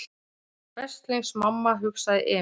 Veslings mamma, hugsaði Emil.